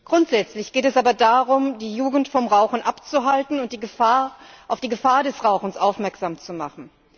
Grundsätzlich geht es aber darum, die Jugend vom Rauchen abzuhalten und auf die Gefahren des Rauchens aufmerksam zu machen.